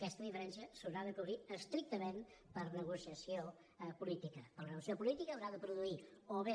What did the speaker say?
aquesta diferència s’haurà de cobrir estrictament per negociació política per negociació política haurà de produir o bé